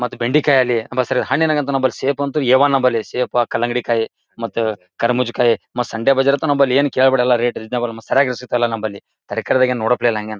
ಮತ್ ಬೆಂಡಿಕಾಯಿ ಅಲಿ ಹಣ್ಣಿನಗ್ ಅಂತೂ ಸೇಫ್ ಅಂತೂ ಎ ಒನ್‌ ಸೇಫ್ ಕಲ್ಲಂಗಡಿಕಾಯಿ ಮತ್ತೆ ಕರ್ಬುಜಕಾಯಿ ಸಂಡೆ ಬಜಾರಲ್ಲಂತೂ ನಮ್ಮಲ್ ಏನು ಕೇಳೋದೇ ಬೇಡ ರೇಟ್ ಎಲ್ಲ ಸರಿಯಾಗಿ ಸಿಗ್ತಾ ಇಲ್ಲ ನಮ್ಮಲ್ಲಿ ತರಕರೀದ್ ನೋಡೋಪ್ಲೆ ಇಲ್ಲ ಹಂಗೆನ.